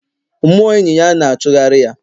mmụọ enyi ya na-achụgharị ya